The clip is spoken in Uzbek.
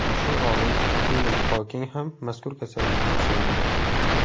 Mashhur olim Stiven Xoking ham mazkur kasallikka chalingan.